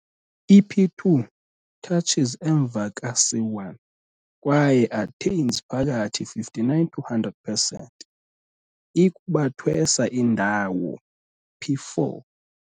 I-p2 touches emva ka c1 kwaye attains phakathi 59 to 100 pesenti i-kubathwesa indawo p4.